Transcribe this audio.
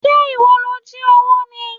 Ṣé ìwọ ni ó jí owó ni?